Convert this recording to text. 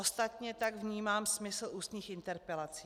Ostatně tak vnímám smysl ústních interpelací.